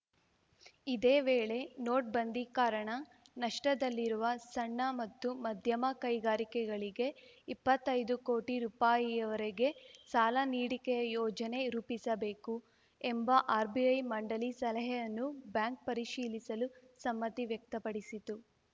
ಇದೇ ವೇಳೆ ನೋಟ್‌ಬಂದಿ ಕಾರಣ ನಷ್ಟದಲ್ಲಿರುವ ಸಣ್ಣ ಮತ್ತು ಮಧ್ಯಮ ಕೈಗಾರಿಕೆಗಳಿಗೆ ಇಪ್ಪತ್ತೈದು ಕೋಟಿ ರುಪಾಯಿವರೆಗೆ ಸಾಲ ನೀಡಿಕೆಯ ಯೋಜನೆ ರೂಪಿಸಬೇಕು ಎಂಬ ಆರ್‌ಬಿಐ ಮಂಡಳಿ ಸಲಹೆಯನ್ನೂ ಬ್ಯಾಂಕ್‌ ಪರಿಶೀಲಿಸಲು ಸಮ್ಮತಿ ವ್ಯಕ್ತಪಡಿಸಿತು